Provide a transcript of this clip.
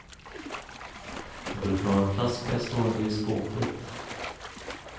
Vi brukar ha en flaska stående i skåpet.